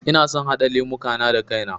Ina son haɗa lemuka na da kai na